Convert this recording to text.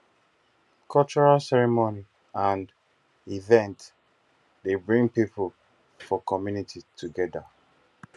cultural ceremony and events dey bring pipo for community together